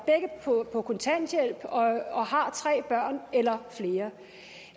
på kontanthjælp og har tre børn eller flere